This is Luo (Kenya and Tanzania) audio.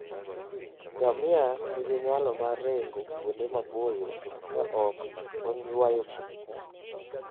Ngamia nigi nyalo mar ringo kuonde maboyo ka ok oywayo pi.